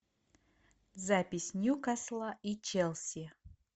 запись ньюкасла и челси